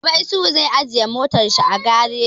Gobe Isuhu zai ajiye motar shi a gareji